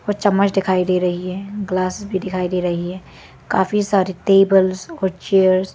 और चम्मच दिखाई दे रही है ग्लास भी दिखाई दे रही है काफी सारे टेबल्स और चेयर्स ।